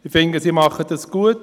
Ich finde, sie machen es gut.